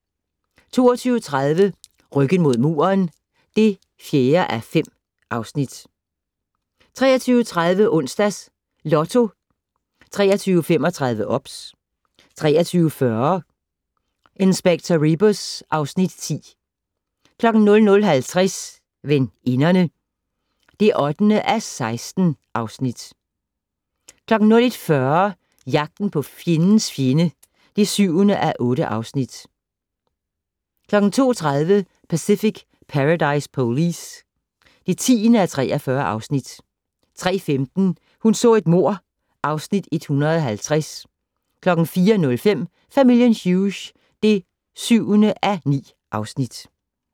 22:30: Ryggen mod muren (4:5) 23:30: Onsdags Lotto 23:35: OBS 23:40: Inspector Rebus (Afs. 10) 00:50: Veninderne (8:16) 01:40: Jagten på fjendens fjende (7:8) 02:30: Pacific Paradise Police (10:43) 03:15: Hun så et mord (Afs. 150) 04:05: Familien Hughes (7:9)